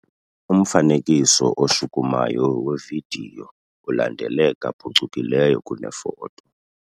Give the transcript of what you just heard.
Umfanekiso oshukumayo wevidiyo ulandeleka phucukileyo kunefoto.